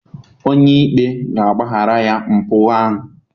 Onye ikpe ga-agbaghara ya mpụ ahụ.